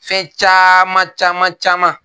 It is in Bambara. Fɛn caman caman caman.